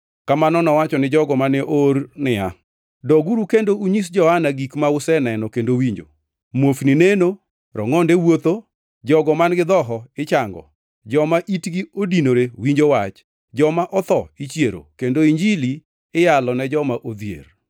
Kamano nowacho ni jogo mane oor niya, “Doguru kendo unyis Johana gik ma useneno kendo winjo: Muofni neno, rongʼonde wuotho, jogo man-gi dhoho ichango, joma itgi odinore winjo wach, joma otho ichiero, kendo Injili iyalo ne joma odhier.